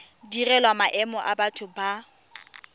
direlwang maemo a batho ba